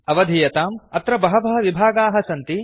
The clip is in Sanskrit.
अवधीयताम् अत्र बहवः विभागाः सन्ति